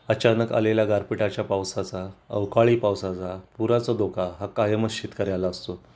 अचानक आलेल्या गारपीटाच्या पावसाचा अवकाळी पावसाचा पुराचा धोका हा कायमच शेतकऱ्याला असतो